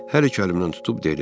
Hər iki əlimdən tutub dedi: